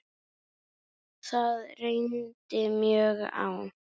Það reyndi mjög á.